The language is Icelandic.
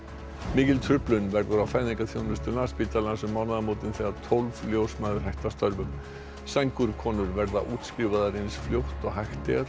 mikil truflun verður á fæðingarþjónustu Landspítalans um mánaðamótin þegar tólf ljósmæður hætta störfum sængurkonur verða útskrifaðar eins fljótt og hægt er